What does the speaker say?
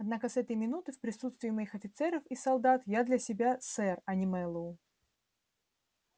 однако с этой минуты в присутствии моих офицеров и солдат я для себя сэр а не мэллоу